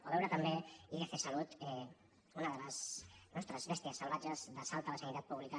o veure també idcsalud una de les nostres bèsties salvatges d’assalt a la sanitat pública